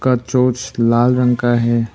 का चोच लाल रंग का है।